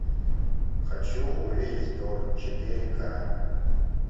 хочу увидеть тор четыре ка